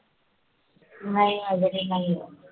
नाही आहे रे नाही आहे.